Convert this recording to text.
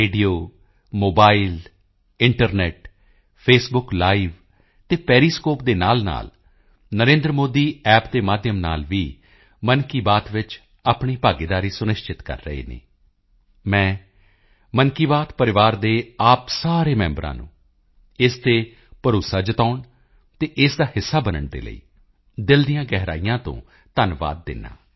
radio mobile internet Facebook live ਤੇ Periscope ਦੇ ਨਾਲਨਾਲ NarendraModiApp ਦੇ ਮਾਧਿਅਮ ਨਾਲ ਵੀ ਮਨ ਕੀ ਬਾਤ ਵਿੱਚ ਆਪਣੀ ਭਾਗੀਦਾਰੀ ਸੁਨਿਸ਼ਚਿਤ ਕਰ ਰਹੇ ਹਨ ਮੈਂ ਮਨ ਕੀ ਬਾਤ ਪਰਿਵਾਰ ਦੇ ਆਪ ਸਾਰੇ ਮੈਂਬਰਾਂ ਨੂੰ ਇਸ ਤੇ ਭਰੋਸਾ ਜਤਾਉਣ ਅਤੇ ਇਸ ਦਾ ਹਿੱਸਾ ਬਣਨ ਦੇ ਲਈ ਦਿਲ ਦੀਆਂ ਗਹਿਰਾਈਆਂ ਤੋਂ ਧੰਨਵਾਦ ਦਿੰਦਾ ਹਾਂ